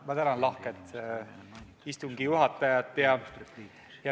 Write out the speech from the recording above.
Ma tänan lahket istungi juhatajat!